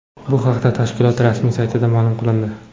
Bu haqda tashkilot rasmiy saytida ma’lum qilindi .